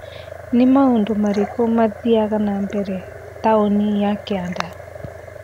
Nĩ maũndũ marĩkũ mathiaga nambere taũnĩ ya kĩanda?